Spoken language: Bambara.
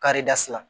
Karida si la